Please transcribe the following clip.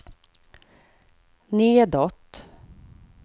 nedåt